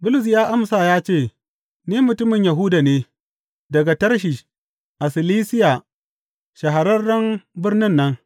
Bulus ya amsa ya ce, Ni mutumin Yahuda ne, daga Tarshish a Silisiya shahararren birnin nan.